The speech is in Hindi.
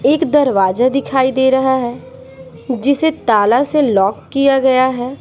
एक दरवाजा दिखाई दे रहा है जिसे ताला से लॉक किया गया है।